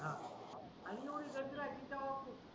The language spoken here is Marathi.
आह